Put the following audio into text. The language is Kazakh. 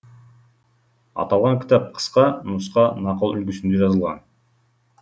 аталған кітап қысқа нұсқа нақыл үлгісінде жазылған